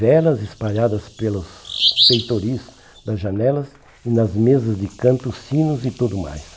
Velas espalhadas pelos peitoris das janelas e nas mesas de canto, sinos e tudo mais.